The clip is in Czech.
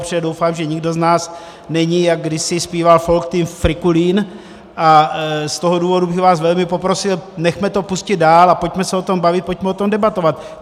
Protože doufám, že nikdo z nás není, jak kdysi zpíval Folk Team, frikulín a z toho důvodu bych vás velmi poprosil, nechme to pustit dál a pojďme se o tom bavit, pojďme o tom debatovat.